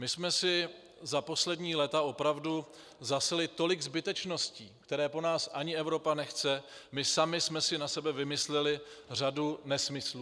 My jsme si za poslední léta opravdu zasili tolik zbytečností, které po nás ani Evropa nechce, my sami jsme si na sebe vymysleli řadu nesmyslů.